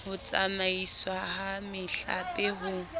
ho tsamaiswa ha mehlape ho